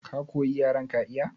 Ka koyi yaren ka iya?